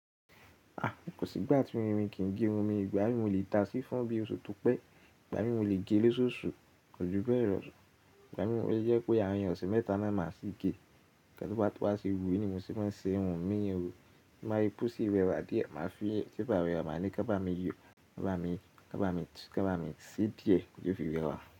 A, kò sí ìgbà tí irin kì í gé ohun mi. Ìgbà mí mo lè tàá sí i fọ́n bí oṣù Túpẹ̀, ìgbà mí mo lè gé lóṣooṣù, kò. Júbẹ́ẹ̀ lọ̀. Ìgbà mí òun yẹ kí àwọn ọ̀sẹ̀ mẹ́ta náà màá ṣì gé. Ẹnikẹ́ni tó bá ti wá sí wù ú ní mo ṣe máa ń ṣe ohun mí irun. Tí mo má yi pó sí i rẹwà díẹ̀, màá fi tape rẹwà, màá ní kọ́ bá mi yọ, kọ́ bá mi, kọ́ bá mi tú, kọ́ bá mi sí díẹ̀ kí o fi rẹwà.